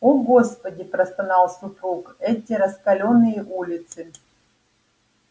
о господи простонал супруг эти раскалённые улицы